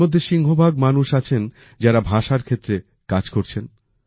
এরমধ্যে সিংহভাগ মানুষ আছেন যারা ভাষার ক্ষেত্রে কাজ করছেন